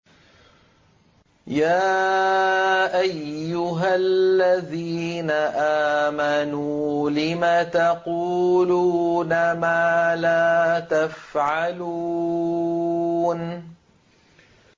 يَا أَيُّهَا الَّذِينَ آمَنُوا لِمَ تَقُولُونَ مَا لَا تَفْعَلُونَ